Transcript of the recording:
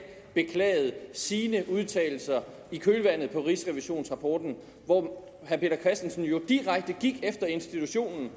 beklagede sine udtalelser i kølvandet på rigsrevisionsrapporten hvor herre peter christensen jo direkte gik efter institutionen